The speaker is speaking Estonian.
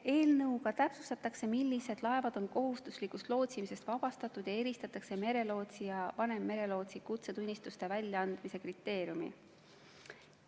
Eelnõuga täpsustatakse, millised laevad on kohustuslikust lootsimisest vabastatud ja arvestatakse merelootsi ja vanemmerelootsi kutsetunnistuste väljaandmise kriteeriume.